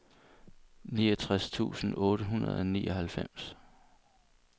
nioghalvtreds tusind otte hundrede og nioghalvfems